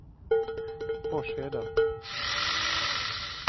Forsheda